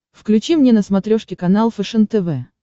включи мне на смотрешке канал фэшен тв